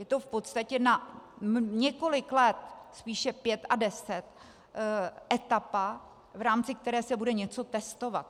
Je to v podstatě na několik let, spíše pět a deset, etapa, v rámci které se bude něco testovat.